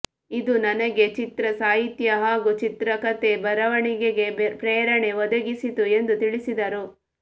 ಇದು ನನಗೆ ಚಿತ್ರಸಾಹಿತ್ಯ ಹಾಗೂ ಚಿತ್ರಕತೆ ಬರವಣಿಗೆಗೆ ಪ್ರೇರಣೆ ಒದಗಿಸಿತು ಎಂದು ತಿಳಿಸಿದರು